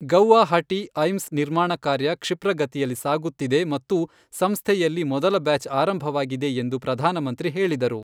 Guwahati AIIMS ನಿರ್ಮಾಣ ಕಾರ್ಯ ಕ್ಷಿಪ್ರಗತಿಯಲ್ಲಿ ಸಾಗುತ್ತಿದೆ ಮತ್ತು ಸಂಸ್ಥೆಯಲ್ಲಿ ಮೊದಲ ಬ್ಯಾಚ್ ಆರಂಭವಾಗಿದೆ ಎಂದು ಪ್ರಧಾನಮಂತ್ರಿ ಹೇಳಿದರು.